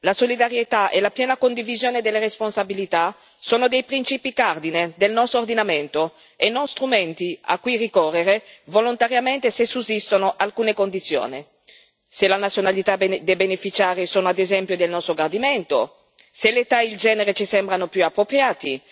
La solidarietà e la piena condivisione delle responsabilità sono principi cardine del nostro ordinamento e non strumenti a cui ricorrere volontariamente se sussistono alcune condizioni, se la nazionalità dei beneficiari è, ad esempio, di nostro gradimento, se l'età e il genere ci sembrano più appropriati.